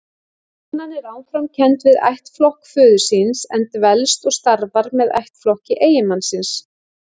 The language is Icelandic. Konan er áfram kennd við ættflokk föður síns, en dvelst og starfar með ættflokki eiginmannsins.